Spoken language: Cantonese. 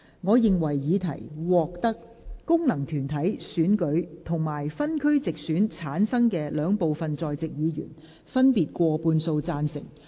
我認為議題獲得經由功能團體選舉產生及分區直接選舉產生的兩部分在席議員，分別以過半數贊成。